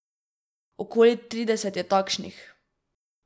Okoli trideset je takšnih.